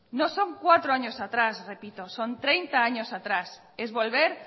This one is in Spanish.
no son cuatro atrás repito son treinta años atrás es volver